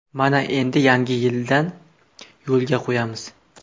Mana endi yangi yildan yo‘lga qo‘yamiz.